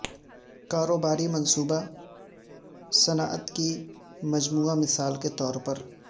کاروباری منصوبہ صنعت کی مجموعی مثال کے طور پر